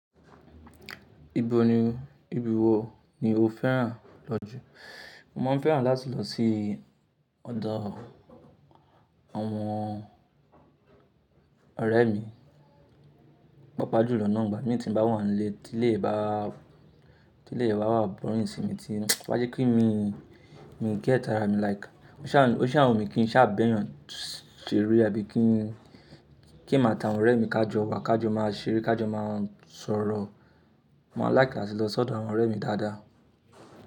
Ibo ni, ibi wo ni o fẹ́ràn lọ jù? Mo máa ń fẹ́ràn láti lọ sí ọ̀dọ̀ àwọn ọ̀rẹ́ mi, pàápàá jùlọ nà ń gbà. Igba mi tí n bá wọ́n le, tí ilè bá, tí ilè bá wà boríng sì mi to ba jẹ́ pe mi, mi gét ara mi like. Ó ṣa n, ó ṣa wú mi kí n ṣà b'ẹyan sẹre àbí kí n, kí emi at'àwọn ọ̀rẹ́ mi kájọ wà, kájọ máa ṣeré, kájọ máa sọ̀rọ̀. Mo ma n like áti lọ s'ọ́dọ̀ àwọn ọ̀rẹ́ mi dáadáa.